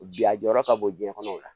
Bi a jɔyɔrɔ ka bon jiɲɛ kɔnɔ o la